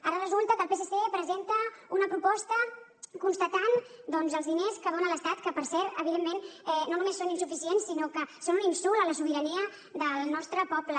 ara resulta que el psc presenta una proposta per constatar doncs els diners que dona l’estat que per cert evidentment no només són insuficients sinó que són un insult a la sobirania del nostre poble